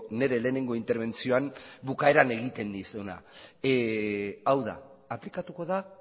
nire lehenengo interbentzioan bukaeran egiten nizuna hau da aplikatuko da